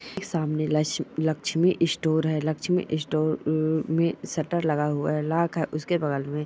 सामने लक्स लक्ष्मी स्टोर हैं लक्ष्मी स्टोर अ मे शटर लगा हुआ हैं लाख हैं उसके बगल मे।